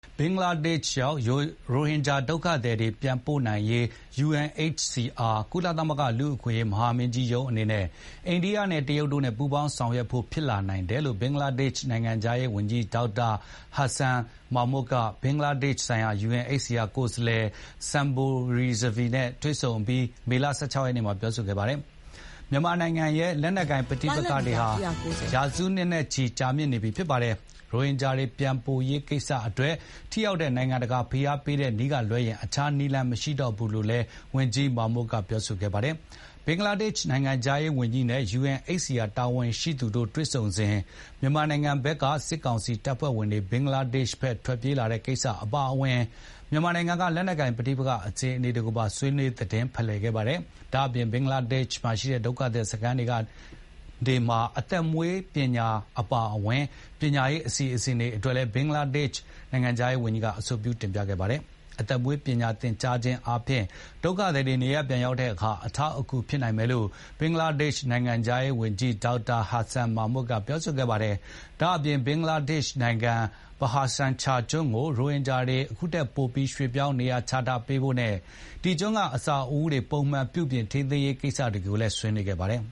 ဘင်္ဂလားဒေ့ရှ်ရောက် ရိုဟင်ဂျာဒုက္ခသည်တွေ ပြန်ပို့နိုင်ရေး UNHCR ကုလသမဂ္ဂလူ့အခွင့်အရေးမဟာမင်းကြီးရုံးအနေနဲ့ အိန္ဒိယနဲ့ တရုတ်တို့နဲ့ ပူးပေါင်းဆောင်ရွက်ဖို့ဖြစ်လာနိုင်တယ်လို့ ဘင်္ဂလားဒေ့ရှ်နိုင်ငံခြားရေးဝန်ကြီး Dr. Hasan Mahumud က ဘင်္ဂလားဒေ့ရှ်ဆိုင်ရာ UNHCR ကိုယ်စားလှယ် Sumbul Rizvi နဲ့ တွေ့ဆုံအပြီး မေလ ၁၆ ရက်နေ့မှာပြောဆိုခဲ့ပါတယ်။ မြန်မာနိုင်ငံရဲ့ လက်နက်ကိုင်ပဋိပက္ခဟာ ရာစုနှစ်နဲ့ချီ ကြာမြင့်နေပြီ ဖြစ်ပါတယ်။ ရိုဟင်ဂျာတွေ ပြန်ပို့ရေးကိစ္စအတွက် ထိရောက်တဲ့ နိုင်ငံတကာဖိအားပေးတဲ့ နည်းကလွဲရင် အခြားနည်းလမ်း မရှိတော့ဘူးလို့လည်း ဝန်ကြီး Hasan Mahumud ကပြောဆိုပါတယ်။ ဘင်္ဂလားဒေ့ရှ်နိုင်ငံခြားရေးဝန်ကြီးနဲ့ UNHCR တာဝန်ရှိသူတို့ တွေ့ဆုံစဉ် မြန်မာနိုင်ငံဘက်က စစ်ကောင်စီတပ်ဖွဲ့ဝင်တွေ ဘင်္ဂလားဒေ့ရှ်ဘက် ထွက်ပြေးတဲ့ကိစ္စတွေ အပါအဝင်၊ မြန်မာနိုင်ငံက လက်နက်ကိုင် ပဋိပက္ခအခြေအနေတွေကိုပါ ဆွေးနွေး သတင်းဖလှယ်ခဲ့ပါတယ်။ ဒါ့အပြင် ဘင်္ဂလားဒေ့ရှ်မှာရှိတဲ့ ဒုက္ခသည်စခန်းတွေမှာ သက်မွေးပညာ သင်တန်းတွေအပါအဝင်၊ ပညာရေးအစီစဉ်တွေ အတွက်လည်း ဘင်္ဂလားဒေ့ရှ်နိုင်ငံခြားရေးဝန်ကြီးက အဆိုပြု တင်ပြခဲ့ပါတယ်။ အသက်မွေးဝမ်းကျောင်းပညာ သင်ကြားပေးခြင်းဖြင့် ဒုက္ခသည်တွေ နေရပ်ပြန်ရောက်တဲ့အခါ အထောက်အကူဖြစ်နိုင်မယ်လို့ ဘင်္ဂလားဒေ့ရှ်နိုင်ငံခြားရေးဝန်ကြီး Dr. Hasan Mahumud ကပြောဆိုခဲ့ပါတယ်။ ဒါ့အပြင် ဘင်္ဂလားဒေ့ရှ်နိုင်ငံ Bhasan Char ကျွန်းကို ရိုဟင်ဂျာတွေ ခုထက်ပို ရွှေပြောင်းနေရာချထားပေးဖို့နဲ့ အဲဒီကျွန်းက အဆောက်အဦးတွေအတွက် ပုံမှန်ပြုပြင် ထိန်းသိမ်းရေး ကိစ္စရပ်တွေကိုလည်း ဆွေးနွေးခဲ့ပါတယ်